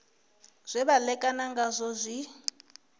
zwe vha ṋekana ngazwo zwi